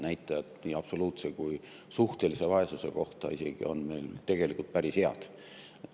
Nii absoluutse kui suhtelise vaesuse näitajad on meil tegelikult päris head.